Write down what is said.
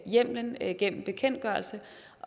hjemmelen gennem bekendtgørelse